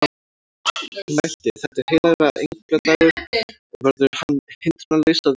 Hún mælti: Þetta er heilagra engla dagur og verður hann hindrunarlaus að vera